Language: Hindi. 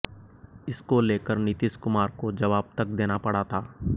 इसको लेकर नीतीश कुमार को जवाब तक देना पड़ा था